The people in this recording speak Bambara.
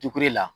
la